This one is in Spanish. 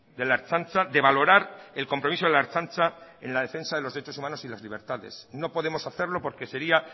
de la ertzaintza de valorar el compromiso de la ertzaintza en la defensa de los derechos humanos y de las libertades no podemos hacerlo porque sería